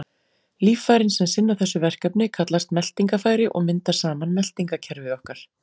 Líffærin sem sinna þessu verkefni kallast meltingarfæri og mynda saman meltingarkerfi okkar.